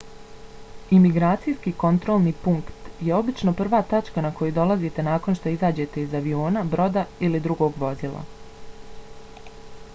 imigracijski kontrolni punkt je obično prva tačka na koju dolazite nakon što izađete iz aviona broda ili drugog vozila